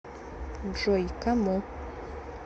джой кому